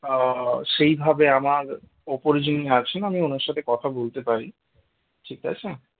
আহ সেই ভাবে আমার ওপরে যিনি আছেন আমি ওনার সাথে কথা বলতে পারি ঠিক আছে?